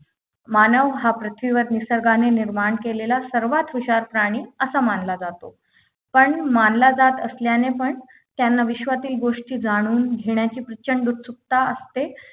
मानव हा पृथ्वीवर निसर्गाने निर्माण केलेला सर्वात हुशार प्राणी असा मानला जातो पण मानला जात असल्याने पण त्यांनी विश्वातील गोष्टी जाणून घेण्याची प्रचंड उत्सुकता असते